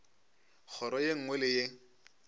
kgoro ye nngwe le ye